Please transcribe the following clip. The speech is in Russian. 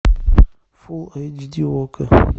фул эйч ди окко